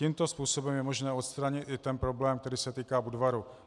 Tímto způsobem je možné odstranit i ten problém, který se týká Budvaru.